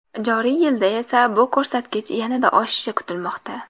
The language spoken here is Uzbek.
Joriy yilda esa bu ko‘rsatkich yanada oshishi kutilmoqda.